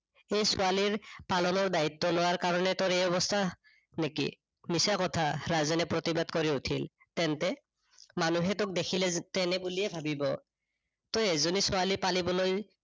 সেই ছোৱালীৰ পালনৰ দায়িত্ব লোৱাৰ কাৰনে তোৰ এই অৱস্থা নেকি? মিছা কথা, ৰাজেনে প্ৰতিবাদ কৰি উঠিল তেন্তুে, মানুহে তোক দেখিলে তেনে বুলিয়ে ভাবিৱ। তই এজনী ছোৱালী পালিবলৈ